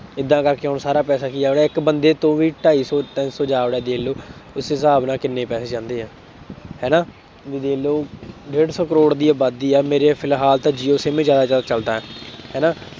ਏਦਾਂ ਕਰਕੇ ਹੁਣ ਸਾਰਾ ਪੈਸਾ ਕੀ ਹੋ ਰਿਹਾ, ਇੱਕ ਬੰਦੇ ਤੋਂ ਵੀ ਢਾਈ ਸੌ, ਤਿੰਨ ਸੌ ਜਾ ਵੜਿਆ ਦੇਖ ਲਉ ਉਸ ਹਿਸਾਬ ਨਾਲ ਕਿੰਨੇ ਪੈਸੇ ਜਾਂਦੇ ਹੈ, ਹੈ ਨਾ, ਤੁਸੀਂ ਦੇਖ ਲਉ ਡੇਢ ਸੌ ਕਰੋੜ ਦੀ ਆਬਾਦੀ ਆ, ਮੇਰੇ ਫਿਲਹਾਲ ਤਾਂ ਜੀਓ SIM ਜ਼ਿਆਦਾਤਰ ਚੱਲਦਾ ਹੈ ਨਾ